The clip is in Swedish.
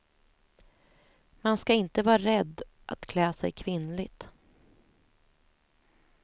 Man ska inte vara rädd att klä sig kvinnligt.